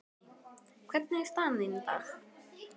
Guðný: Hvernig er staðan þín í dag?